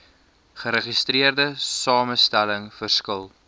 geregistreerde samestelling verskil